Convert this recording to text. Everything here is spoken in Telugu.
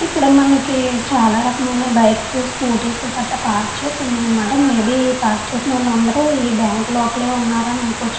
ఇక్కడ మనకి చాలా రకమైన బైక్స్ స్కూటీస్ గట్రా పార్క్ చేసి ఉన్నారు అన్నమాట. మేబి ఇక్కడ పార్క్ చేసిన వాళ్ళు అందరూ ఈ బ్యాంకు లోపల ఉన్నారని అనుకోవచ్చు.